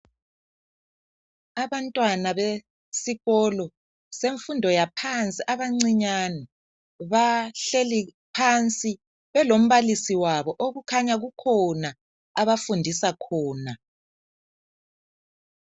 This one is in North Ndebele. Abantwana besikolo semfundo yaphansi abancinyane bahleli phansi belombalisi wabo okukhanya kukhona abafundisa khona.